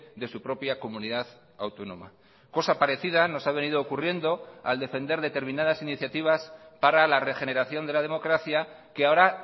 de su propia comunidad autónoma cosa parecida nos ha venido ocurriendo al defender determinadas iniciativas para la regeneración de la democracia que ahora